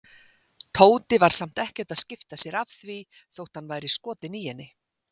Tóti var samt ekkert að skipta sér af því þótt hann væri skotinn í henni.